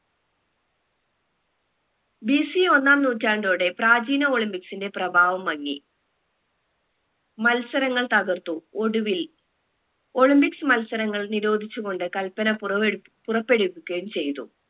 BC ഒന്നാം നൂറ്റാണ്ടോടെ പ്രാചീന olympics ന്റെ പ്രഭാവം മങ്ങി മത്സരങ്ങൾ തകർത്തു തടുത്തു ഒടുവിൽ olympics മത്സരങ്ങൾ നിരോധിച്ചു കൊണ്ട് കല്പന പുറവെടു പുറപ്പെടുവിക്കുകയും ചെയ്തു